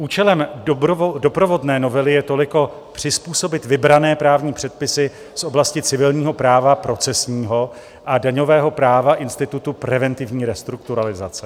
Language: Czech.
Účelem doprovodné novely je toliko přizpůsobit vybrané právní předpisy z oblasti civilního práva procesního a daňového práva institutu preventivní restrukturalizace.